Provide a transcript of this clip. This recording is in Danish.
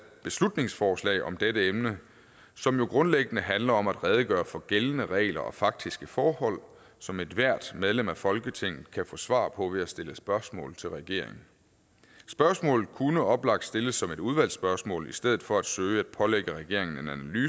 beslutningsforslag om dette emne som jo grundlæggende handler om at redegøre for gældende regler og faktiske forhold som ethvert medlem af folketinget kan få svar på ved at stille spørgsmål til regeringen spørgsmålet kunne oplagt stilles som et udvalgsspørgsmål i stedet for at søge at pålægge regeringen